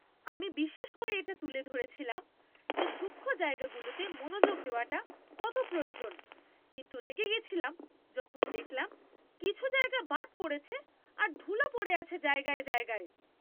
আমি বিশেষ করে এটা তুলে ধরেছিলাম যে সূক্ষ্ম জায়গাগুলোতে মনোযোগ দেওয়াটা কত প্রয়োজন, কিন্তু রেগে গেছিলাম যখন দেখলাম কিছু জায়গা বাদ পড়েছে আর ধুলো পড়ে আছে জায়গায় জায়গায়!